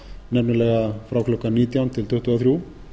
nefnilega frá klukkan nítján til tuttugu og þrjú